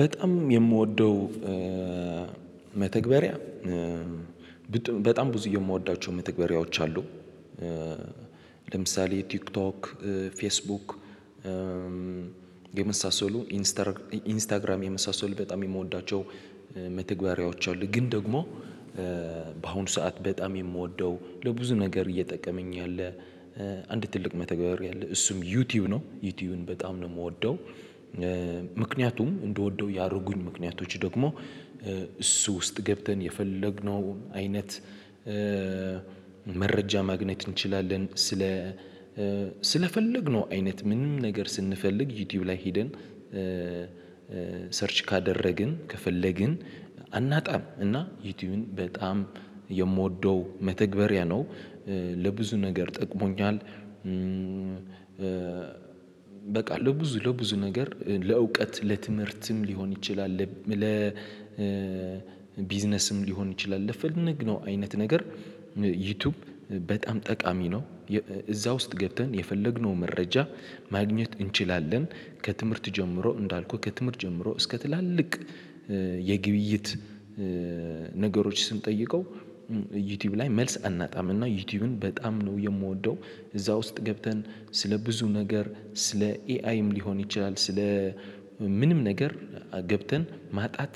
በጣም የምወደው መተግበሪያ በጣም ብዙ የምወዳቸው መተግበሪያዎች አሉ። ለምሳሌ ቲክቶክ ፌስቡክ የመሳሰሉ ኢንስታግራም የመሳሰሉ በጣም የምወዳቸው መተግበሪያዎች አሉ። ግን ደግሞ በአሁኑ ሰዓት በጣም የምወደው ለብዙ ነገር እየጠቀመኝ ያለ አንድ ትልቅ መተግበር አለ እሱም ዩቲዩብ ነው። ዩቲዩብን በጣም ነው የምወደው። ምክንያቱም እንድወደው ያደረጉኝ ምክንያቶች ደግሞ እሱ ውስጥ ገብተን የፈለግነው አይነት መረጃ ማግኘት እንችላለን። ስለ ስለፈለግነው አይነት ምንም ነገር ስንፈልግ ዩቲዩብ ላይ ሄደን ሰርች ካደረግን ከፈለግን አናጣም። እና ዩቲዩብን በጣም የምወደው መተግበሪያ ነው። ለብዙ ነገር ጠቅሞኛል። በቃ ለብዙ ለብዙ ነገር ለእውቀት ለትምህርትም ሊሆን ይችላል ለቢዝነስም ሊሆን ይችላል። ለፈለግ ነው አይነት ነገር ዩቲዩብ በጣም ጠቃሚ ነው። እዛ ውስጥ ገብተን የፈለግነው መረጃ ማግኘት እንችላለን። ከትምህርት ጀምሮ እንዳልኩህ ከትምህርት ጀምሮ እስከ ትላልቅ የግብይት ነገሮች ስንጠይቀው ዩቲዩብ ላይ መልስ አናጣም። እና ዩቲዩብን በጣም ነው የምወደው። እዛ ውስጥ ገብተን ስለ ብዙ ነገር ስለ ኤአይም ሊሆን ይችላል ስለ ምንም ነገር ገብተን ማጣት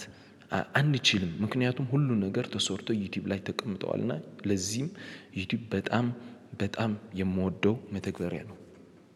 አንችልም። ምክንያቱም ሁሉ ነገር ተሰርቶ ዩቲዩብ ላይ ተቀምጠዋል። እና ለዚህም ዩቲዩብ በጣም በጣም የምወደው መተግበሪያ ነው